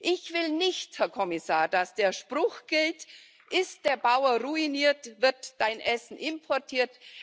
Ich will nicht, Herr Kommissar, dass der Spruch gilt Ist der Bauer ruiniert, wird dein Essen importiert.